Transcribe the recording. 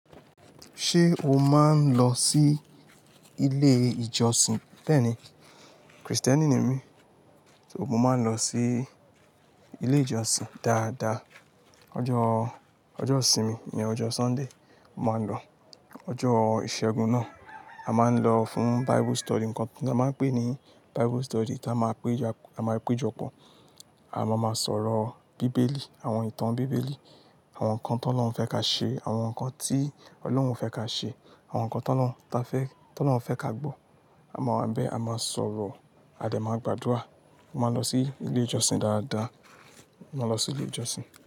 Ṣé o máa ń lọ sí ilé ìjọsìn? Bẹ́ẹ̀ni, Kristẹni ni mí, so mo máa ń lọ sí ilé ìjọsìn dáadáa. Ọjọ́, ọjọ́ isinmi ni ọjọ́ Sunday, mó máa ń lọ. Ọjọ́ ìṣẹ́gun náà, a máa ń lọ fún Bible study nǹkan tí a máa ń pè ní Bible study tí a máa péja, a máa péjọpọ̀. A máa ma sọ̀rọ̀ bíbélì, àwọn ìtàn bíbélì, àwọn ǹkan tó Olorun fẹ́ ká ṣe, àwọn ǹkan tí Ọlọ́run o fẹ́ ká ṣe, àwọn ǹkan tó Olorun ta fẹ́, tó Olorun n. Fẹ́ ká gbọ́. A máa wa ń bẹ, a máa sọ̀rọ̀, a de máa gbàdúrà. Mo máa ń lọ sí ilé ìjọsìn dáadáa, mó máa lọ sí ilé ìjọsìn.